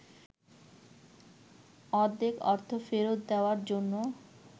অর্ধেক অর্থ ফেরত দেওয়ার জন্য